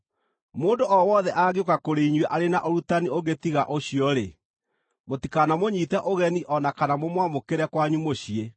Mũndũ o wothe angĩũka kũrĩ inyuĩ arĩ na ũrutani ũngĩ tiga ũcio-rĩ, mũtikanamũnyiite ũgeni o na kana mũmwamũkĩre kwanyu mũciĩ.